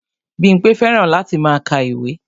Bímpé fẹ́ràn láti máa ka ìwé